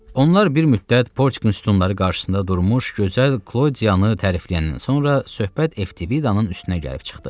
Onlar bir müddət Portikin sütunları qarşısında durmuş gözəl Klodiyanı tərifləyəndən sonra söhbət Eftividanın üstünə gəlib çıxdı.